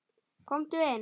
Komdu inn!